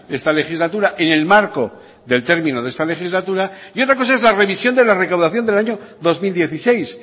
esta legislatura en el marco del término de esta legislatura y otra cosa es la revisión de la recaudación del año dos mil dieciséis